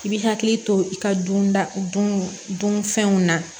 I bi hakili to i ka dunda dun dun fɛnw na